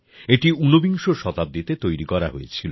এটি উনবিংশ শতাব্দীতে তৈরি করা হয়েছিল